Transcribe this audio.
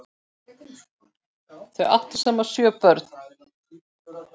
Þau áttu saman sjö börn.